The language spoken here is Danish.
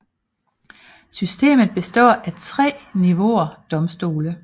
Systemet består af 3 niveauer domstole